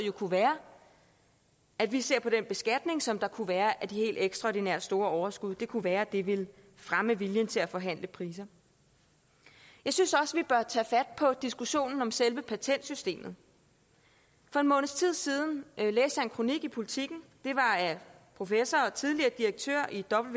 kunne være at vi ser på den beskatning som der kunne være af de helt ekstraordinært store overskud det kunne være det ville fremme viljen til at forhandle priser jeg synes også vi bør tage fat på diskussionen om selve patentsystemet for en måneds tid siden læste jeg en kronik i politiken den var af professor og tidligere direktør